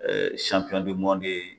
Ɛɛ sanpiyɔn bdi mɔndi ye